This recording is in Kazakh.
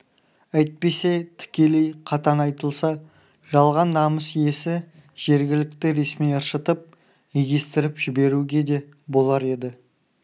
әйтпесе тікелей қатаң айтылса жалған намыс иесі жергілікті ресми ыршытып егестіріп жіберуге де болар еді